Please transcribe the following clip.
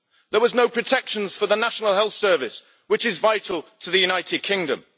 There were no protections for the National Health Service, which is vital to the United Kingdom.